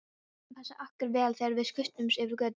Við máttum passa okkur vel þegar við skutumst yfir götuna.